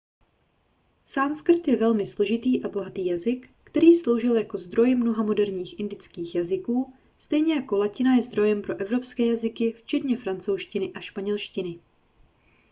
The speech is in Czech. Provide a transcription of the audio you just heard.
sanskrt je velmi složitý a bohatý jazyk který sloužil jako zdroj mnoha moderních indických jazyků stejně jako latina je zdrojem pro evropské jazyky včetně francouzštiny a španělštiny